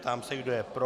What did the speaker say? Ptám se, kdo je pro.